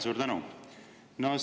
Suur tänu!